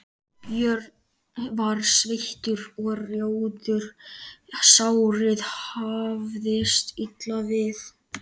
Björn var sveittur og rjóður, sárið hafðist illa við.